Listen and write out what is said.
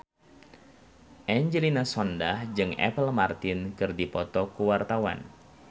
Angelina Sondakh jeung Apple Martin keur dipoto ku wartawan